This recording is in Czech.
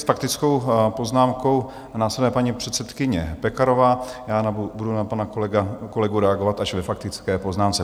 S faktickou poznámkou následuje paní předsedkyně Pekarová, já budu na pana kolegu reagovat až ve faktické poznámce.